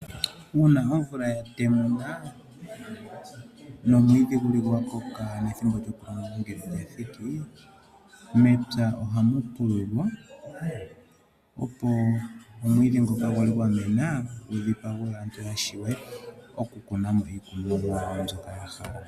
Uuna omvula ya temuna nomwiidhi guli gwa koka nethimbo lyoku longa lya thiki mepya ohamu pululwa opo omwiidhi ngoka gwa li gwa mena gu dhipagwe/tetwe mo, opo aantu ya wape oku kuna mo iikunomwa yawo mbyoka ya hala.